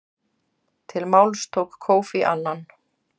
Til máls tók Kofi Annan.